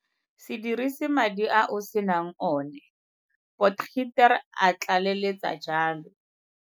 Se dirise madi a o senang one, Potgieter a tlaleletsa jalo.